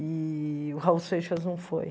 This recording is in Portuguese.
Eee o Raul Seixas não foi.